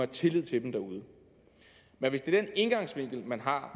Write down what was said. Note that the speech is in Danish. tillid til dem derude men hvis det er den indgangsvinkel man har